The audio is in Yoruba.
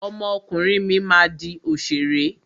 Ọmọ ọkùnrin mi máa di òṣèré.